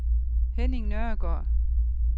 Henning Nørregaard